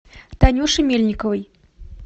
танюше мельниковой